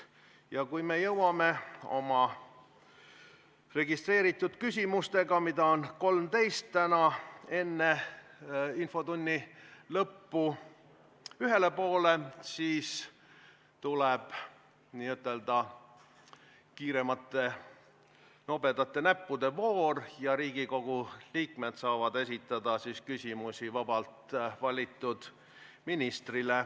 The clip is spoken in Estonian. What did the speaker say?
Ja kui me jõuame oma registreeritud küsimustega, mida on täna kokku 13, enne infotunni lõppu ühele poole, siis tuleb n-ö kiireimate, nobedate näppude voor, kus Riigikogu liikmed saavad esitada küsimusi vabalt valitud ministrile.